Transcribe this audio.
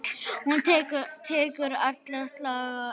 Hún tekur alla slagi.